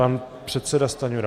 Pan předseda Stanjura.